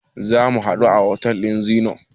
Zamu haɗu da otel ɗin Zennoor.